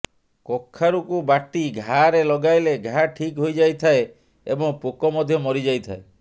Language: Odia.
କଖାରୁକୁ ବାଟି ଘାରେ ଲଗାଇଲେ ଘା ଠିକ୍ ହୋଇଯାଇଥାଏ ଏବଂ ପୋକ ମଧ୍ୟ ମରିଯାଇଥାଏ